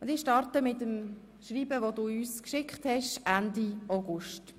Ich beginne mit dem Schreiben, das du uns Ende August geschickt hast: